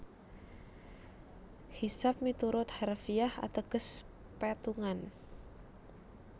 Hisab miturut harfiah ateges pétungan